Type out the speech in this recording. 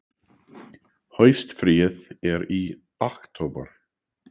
Haustfríið er í október.